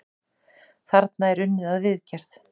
Þarna er unnið að viðgerð.